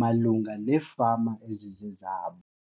malunga neefama ezizezabo.